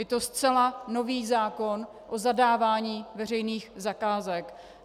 Je to zcela nový zákon o zadávání veřejných zakázek.